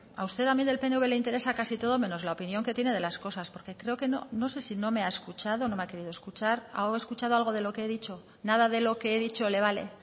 a usted también del pnv le interesa casi todo menos la opinión que tiene de las cosas porque creo que no sé si no me ha escuchado o no me ha querido escuchar ha escuchado algo de lo que he dicho nada de lo que he dicho le vale